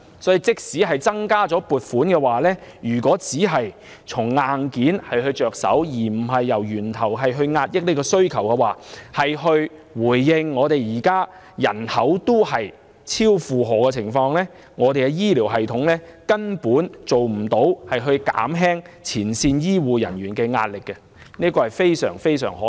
所以，即使增加撥款，如果只從硬件着手，而不是從源頭遏抑需求，回應人口已超負荷的問題，根本不能減輕前線醫護人員的壓力，這是非常可惜的。